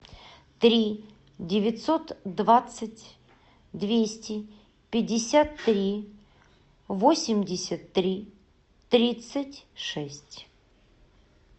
три девятьсот двадцать двести пятьдесят три восемьдесят три тридцать шесть